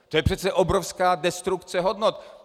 To je přece obrovská destrukce hodnot!